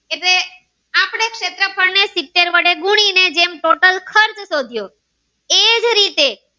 તેમ ટોટલ ખર્ચ શોધ્યો એજ રીતે.